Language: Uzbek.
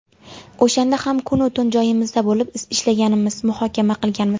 O‘shanda ham kunu tun joyimizda bo‘lib, ishlaganmiz, muhokama qilganmiz.